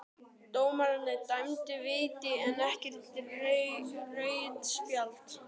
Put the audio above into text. Dómarinn dæmdi víti en ekkert rautt spjald?